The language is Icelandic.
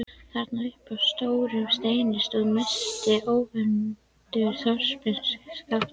Þarna uppi á stórum steini stóð mesti ógnvaldur þorpsins: SKAPTI